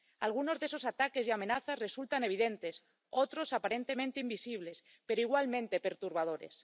Algunos de esos ataques y amenazas resultan evidentes, otros aparentemente invisibles, pero igualmente perturbadores.